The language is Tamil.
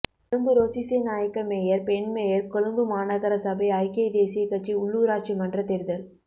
கொழும்பு ரோஸிசேநாயக்க மேயர் பெண் மேயர் கொழும்பு மாநகர சபை ஐக்கிய தேசியக்கட்சி உள்ளூராட்சிமன்றத் தேர்தல்